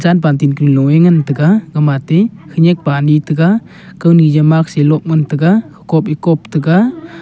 bunktin kaloe ngan taiga gamatey khenyak pa ani taiga kawni jaw mask e lob ngan taiga kop e kop taiga.